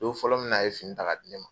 Don fɔlɔ min na a ye fini ta ka di ne ma.